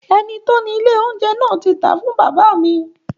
Ẹni tí ó ni ilé oúnjẹ náà ti tàá fún bàbá mi.